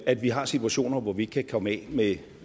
at vi har situationer hvor vi ikke kan komme af med